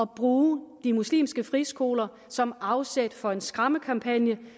bruge de muslimske friskoler som afsæt for en skræmmekampagne